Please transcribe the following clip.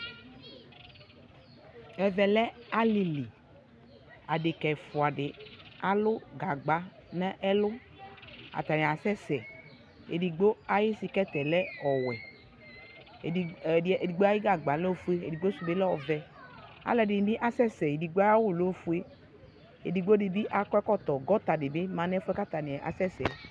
Ɛvɛ lɛ alili Adeka ɛfua di alʋ gagba n'ɛlʋ Atani asɛsɛ Edigbo ayʋ sikɛti yɛ lɛ ɔwɛ Ɛdi edigbo ayu gagba lɛ ofue , ɛdigbo sʋ bi lɛ ɔvɛ Alʋ ɛdini bi asɛsɛ Ɛdigbo aya wʋ bi lɛ ofue Ɛdigbo di bi akɔ ɛkɔtɔ Gɔta di bi ma nʋ ɛfuɛ boa kʋ atani asɛsɛ ɛ